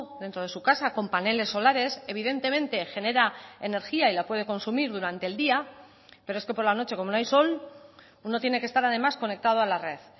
dentro de su casa con paneles solares evidentemente genera energía y la puede consumir durante el día pero es que por la noche como no hay sol uno tiene que estar además conectado a la red